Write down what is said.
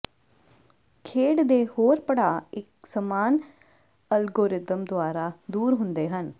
ਖੇਡ ਦੇ ਹੋਰ ਪੜਾਅ ਇਕ ਸਮਾਨ ਅਲਗੋਰਿਦਮ ਦੁਆਰਾ ਦੂਰ ਹੁੰਦੇ ਹਨ